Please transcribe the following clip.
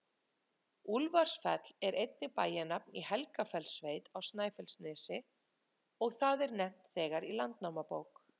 Úlfarsfell er einnig bæjarnafn í Helgafellssveit á Snæfellsnesi, og það er nefnt þegar í Landnámabók.